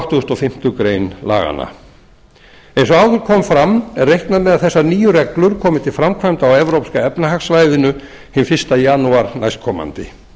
áttugustu og fimmtu grein laganna eins og áður kom fram er reiknað með að þessar nýju reglur komi til framkvæmda á evrópska efnahagssvæðinu hinn fyrsta janúar næstkomandi